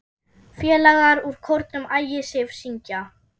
Félagar úr kórnum Ægisif syngja.